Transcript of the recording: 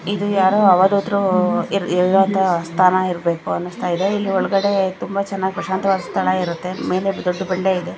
ಇದು ಯಾರೋ ಅವಧೂತರು ಇರೋ ಅಂತಹ ಸ್ಥಾನ ಇರಬೇಕು ಅನಸ್ತಾಯಿದೆ ಇಲ್ಲಿ ಒಳಗಡೆ ತುಂಬಾ ಚೆನ್ನಾಗಿ ಪ್ರಶಾಂತವಾಗಿ ಸ್ಥಳ ಇರುತ್ತೆ ಮೇಲೆ ದೊಡ್ಡ ಬಂಡೆ ಇದೆ.